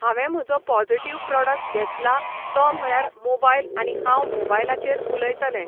हांवें म्हजो positive product घेतला तो म्हळ्यार मोबायल आनी हांव मोबायलाचेर उलयतलें.